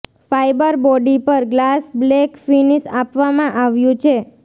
fibre body પર glass black finish આપવામાં આવ્યું છે